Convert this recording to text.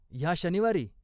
ह्या शनिवारी?